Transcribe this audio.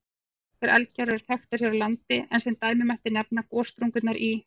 Fáar slíkar eldgjár eru þekktar hér á landi, en sem dæmi mætti nefna gossprungurnar í